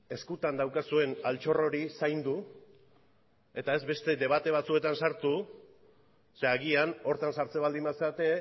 eskutan daukazuen altxor hori zaindu eta ez beste debate batzuetan sartu ze agian horretan sartzen baldin bazarete